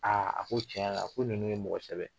Aa a ko tiɲɛ yɛrɛ la a ko ninnu ye mɔgɔsɛbɛw ye